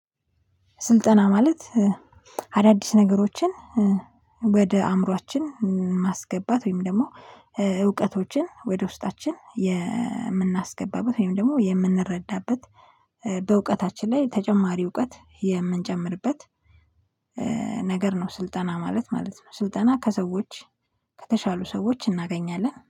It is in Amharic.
ስልጠና ማለት አዳዲስ ነገሮችን ወደ አእምሮአችን ማስገባት ወይም ደግሞ እውቀቶችን ወደ ውስጣችን የምናስገባበት ወይም ደግሞ የምንረዳበት በእውቀታችን ላይ ተጨማሪ እውቀት የምንጨምርበት ነገር ነው ስልጠና ማለት ማለት ነው። ስልጠና ከሰዎች ከተሻሉ ሰዎች እናገኛለን